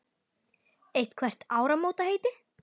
Eitthvert áramótaheiti?